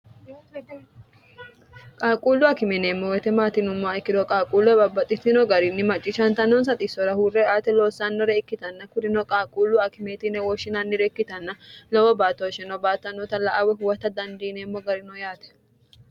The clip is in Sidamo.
qaaquullu akime yineemmo woy maati yinummoha ikkiro qaaquulleho babbaxitinno garinni macciishantannonsa xissora huurre ate loossannore ikkitanna kurino qaaquullu akimeeti yine wooshshinannire ikkitanna lowo baattooshsheno baattannoota la"a woy huwota dandiineemmo garino yaate